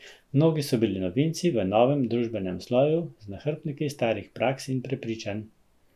Mnogi so bili novinci v novem družbenem sloju, z nahrbtniki starih praks in prepričanj.